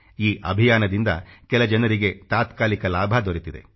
ಈ ಅಭಿಯಾನದಿಂದ ಕೆಲ ಜನರಿಗೆ ತಾತ್ಕಾಲಿಕ ಲಾಭ ದೊರೆತಿದೆ